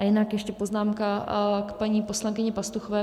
A jinak ještě poznámka k paní poslankyni Pastuchové.